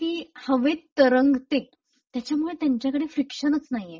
ती हवेत तरंगते त्याच्यामुळे त्यांच्याकडे फ्रिक्शनचं नाहीये.